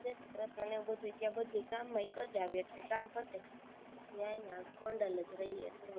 જય શ્રી કૃષ્ણ ને એવું બધું ત્યાં બધું ગામમાં ય કરીયાવીએ એટલે કામ પતે અહીંયા ગોંડલ જ રહીયે છીએ